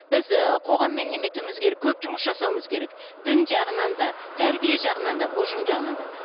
біз ііі қоғаммен немене етуіміз керек көп жұмыс жасауымыз керек дін жағынан да тәрбие жағынан да ұжым жағынан да